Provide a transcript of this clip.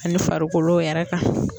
Ani farikolo yɛrɛ kan.